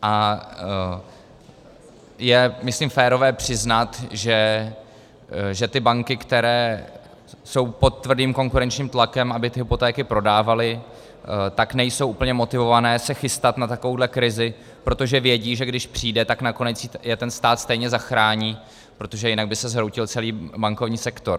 A je myslím férové přiznat, že ty banky, které jsou pod tvrdým konkurenčním tlakem, aby ty hypotéky prodávaly, tak nejsou úplně motivované se chystat na takovouhle krizi, protože vědí, že když přijde, tak nakonec je ten stát stejně zachrání, protože jinak by se zhroutil celý bankovní sektor.